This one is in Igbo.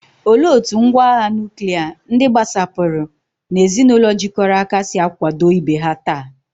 Olee otú ngwá agha nuklia, ndị gbasapụrụ, na ezinụlọ jikọrọ aka si akwado ibe ha taa?